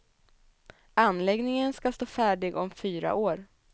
Anläggningen ska stå färdig om fyra år.